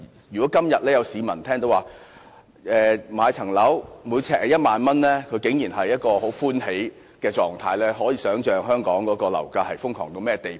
如果今天有市民聽到住宅物業呎價為1萬元，竟然會很歡喜，可以想象香港的樓價瘋狂至甚麼地步。